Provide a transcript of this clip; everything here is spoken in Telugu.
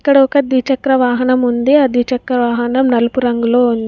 ఇక్కడ ఒక ద్విచక్రవాహనం ఉంది. ఆ ద్విచక్రవాహనం నలుపు రంగులో ఉంది.